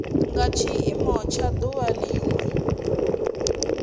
nga tshiimo tsha duvha linwe